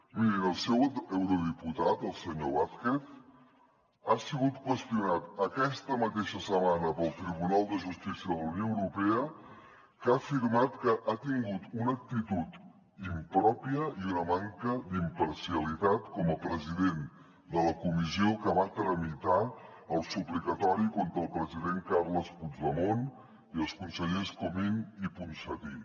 mirin el seu eurodiputat el senyor vázquez ha sigut qüestionat aquesta mateixa setmana pel tribunal de justícia de la unió europea que ha afirmat que ha tingut una actitud impròpia i una manca d’imparcialitat com a president de la comissió que va tramitar el suplicatori contra el president carles puigdemont i els consellers comín i ponsatí